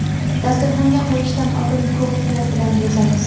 Dasturxonga qo‘yishdan oldin ko‘k piyoz bilan bezaymiz.